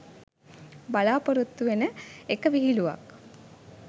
බලාපොරොත්තු වෙන එක විහිලුවක්.